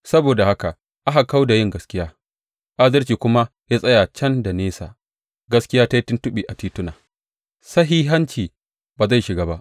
Saboda haka aka kau da yin gaskiya adalci kuma ya tsaya can da nesa; gaskiya ta yi tuntuɓe a tituna, sahihanci ba zai shiga ba.